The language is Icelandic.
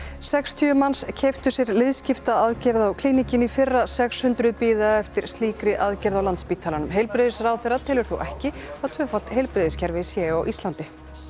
sextíu manns keyptu sér liðskiptaaðgerð á Klíníkinni í fyrra sex hundruð bíða eftir slíkri aðgerð á Landspítalanum heilbrigðisráðherra telur þó ekki að tvöfalt heilbrigðiskerfi sé á Íslandi